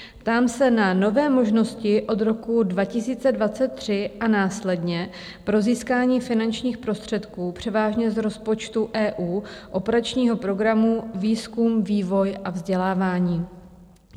Ptám se na nové možnosti od roku 2023 a následně pro získání finančních prostředků převážně z rozpočtu EU, operačního programu Výzkum, vývoj a vzdělávání.